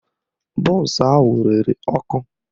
Bọnsụ ahụ rere ọkụ